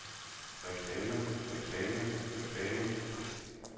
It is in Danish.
reklame reklame reklame